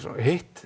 hitt